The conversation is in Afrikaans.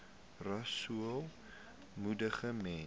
rasool moedig mense